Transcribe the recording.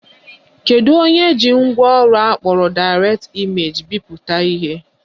Kedu onye ji ngwaọrụ akpọrọ Direct Image bipụta ihe?